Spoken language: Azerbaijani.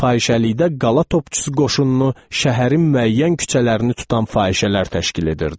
Fahişəlikdə qala topçusu qoşununu şəhərin müəyyən küçələrini tutan fahişələr təşkil edirdi.